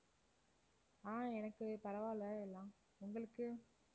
ஆஹ் எனக்குப் பரவாயில்லை எல்லாம். உங்களுக்கு?